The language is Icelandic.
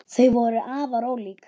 Þau voru afar ólík.